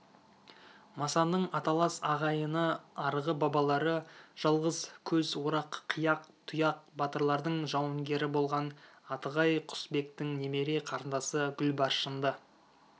масанның аталас ағайыны арғы бабалары жалғыз көз орақ қияқ тұяқ батырлардың жауынгері болған атығай құсбектің немере қарындасы гүлбаршынды